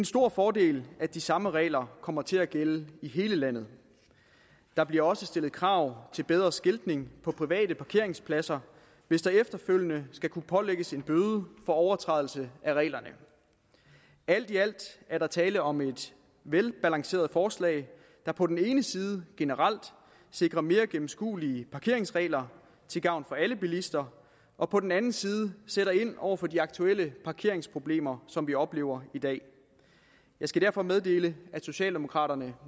stor fordel at de samme regler kommer til at gælde i hele landet der bliver også stillet krav til bedre skiltning på private parkeringspladser hvis der efterfølgende skal kunne pålægges en bøde for overtrædelse af reglerne alt i alt er der tale om et velbalanceret forslag der på den ene side generelt sikrer mere gennemskuelige parkeringsregler til gavn for alle bilister og på den anden side sætter ind over for de aktuelle parkeringsproblemer som vi oplever i dag jeg skal derfor meddele at socialdemokraterne